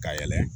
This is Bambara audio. Ka yɛlɛ